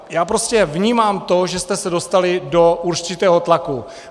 Já prostě vnímám to, že jste se dostali do určitého tlaku.